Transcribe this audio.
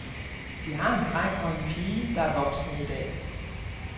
De har en dreng og en pige, der er voksne i dag.